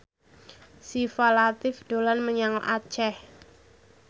Syifa Latief dolan menyang Aceh